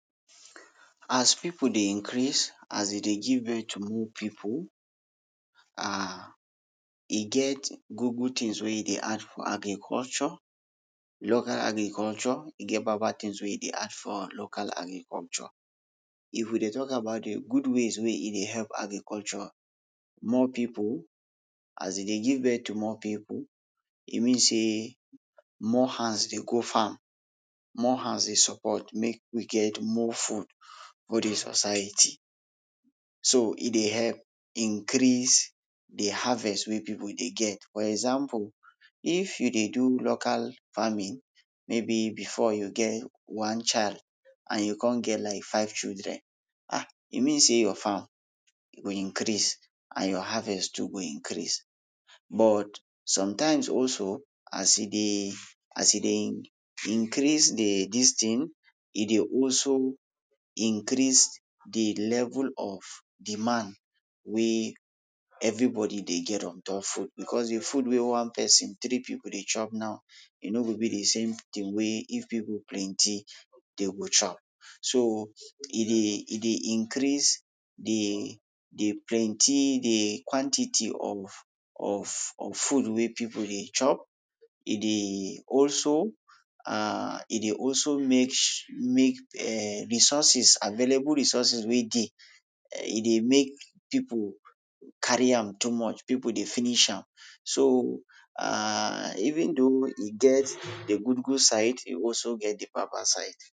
As pipul dey increase, as dey dey give birth to more pipul um e get good good tins wey e dey add for agriculture, local agriculture, e get bad bad tins wey e dey add for local agriculture. If we dey talk about de good ways wey e dey help agriculture, more pipul, as e dey give birth to more pipul, e means sey more hands dey go farm, more hands dey support make we get more food for de society. So e dey help increase dey harvest wey pipul dey get. for exampul, if you dey do local farming, maybe before you get one child and you kon get like five children, um e means sey your farm go increase and your harvest too go increase. But sometimes also, as e dey, as e dey increase dey dis tin, e dey also increase de level of demand wey everybodi dey get ontop food becos de food wey one pesin tri pipul dey chop now e no go be de same tin wey if pipul plenty dey go chop. So e dey e dey increase de de plenty, de quantity of of food wey pipul dey chop, e dey also, um e dey also make, make um resources, available resources wey dey, e dey make pipul carry am too much, pipul dey finish am. So um even dough e get de good good side, e also get de bad bad side.